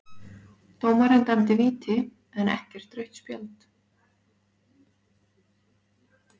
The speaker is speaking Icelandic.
Dómarinn dæmdi víti en ekkert rautt spjald?